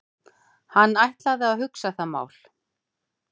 Hann ætlaði að hugsa það mál.